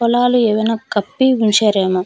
పొలలు ఏవైనా కప్పి ఉంచారు ఏమో చుట్టూ ప--